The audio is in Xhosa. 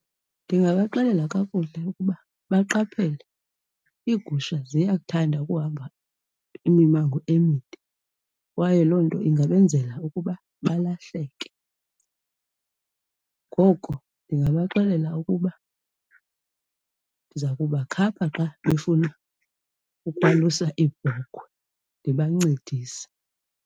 Ndingabaxelela kakuhle ukuba baqaphele iigusha ziyakuthanda ukuhamba imimango emide kwaye loo nto ingabenzela ukuba balahleke. Ngoko ndingabaxelela ukuba ndiza kubakhapha xa befuna ukwalusa iibhokhwe ndibancedise.